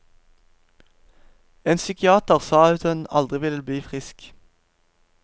En psykiater sa at hun aldri ville bli frisk.